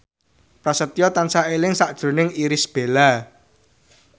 Prasetyo tansah eling sakjroning Irish Bella